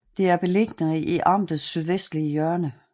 Det er beliggende i amtets sydvestlige hjørne